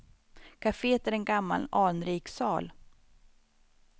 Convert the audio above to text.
Caféet är en gammal anrik sal.